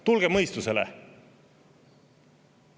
Tulge mõistusele!